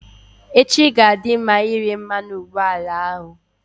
Echi ga-adị mma ire mmanụ ụgbọala ahụ.